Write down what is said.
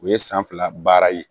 U ye san fila baara ye